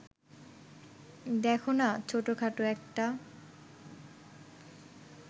দেখো না ছোটখাটো একটা